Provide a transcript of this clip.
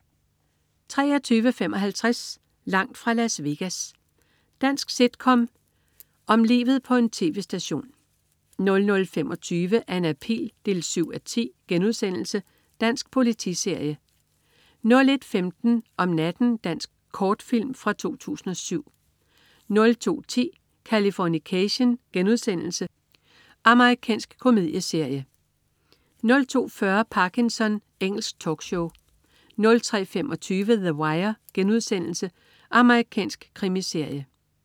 23.55 Langt fra Las Vegas. Dansk sitcom om livet på en tv-station 00.25 Anna Pihl 7:10* Dansk politiserie 01.15 Om natten. Dansk kortfilm fra 2007 02.10 Californication.* Amerikansk komedieserie 02.40 Parkinson. Engelsk talkshow 03.25 The Wire.* Amerikansk krimiserie